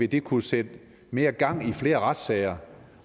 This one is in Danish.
vil kunne sætte mere gang i flere retssager